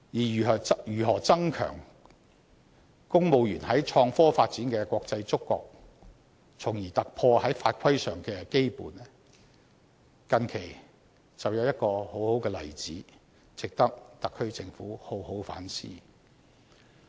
如何增強公務員在創科發展的國際觸覺，從而突破法規上的羈絆，近期就有一個很好的例子，值得特區政府好好反思。